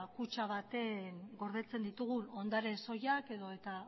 kutxa baten gordetzen ditugun ondare soilak edota